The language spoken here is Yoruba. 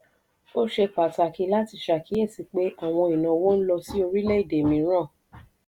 ó ṣe pàtàkì láti ṣàkíyèsí pé àwọn ìnáwó ń lọ sí orílẹ̀-èdè mìíràn.